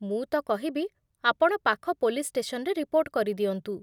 ମୁଁ ତ କହିବି ଆପଣ ପାଖ ପୋଲିସ୍ ଷ୍ଟେସନ୍‌ରେ ରିପୋର୍ଟ କରିଦିଅନ୍ତୁ।